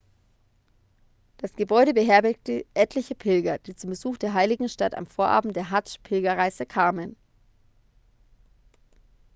das gebäude beherbergte etliche pilger die zum besuch der heiligen stadt am vorabend der hadsch-pilgerreise kamen